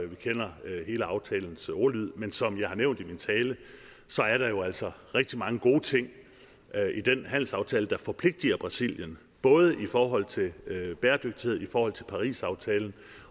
vi kender hele aftalens ordlyd men som jeg har nævnt i min tale er der jo altså rigtig mange gode ting i den handelsaftale der forpligter brasilien både i forhold til bæredygtighed og i forhold til parisaftalen